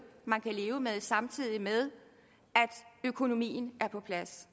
man kunne leve med samtidig med at økonomien var på plads